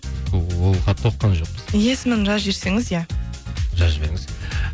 ол хатты оқыған жоқпыз есімін жазып жіберсеңіз иә жазып жіберіңіз